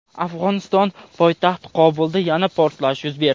Afg‘oniston poytaxti Qobulda yana portlash yuz berdi.